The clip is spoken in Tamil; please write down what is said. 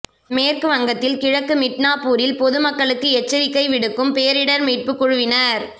மேற்கு வங்கத்தின் கிழக்கு மிட்னாப்பூரில் பொதுமக்களுக்கு எச்சரிக்கை விடுக்கும் பேரிடர் மீட்பு குழுவினர்